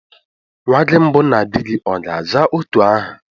Nwa gị mbụ na di gị ọ̀ ga-àzá otu aha?